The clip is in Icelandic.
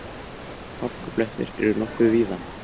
Hálkublettir eru nokkuð víða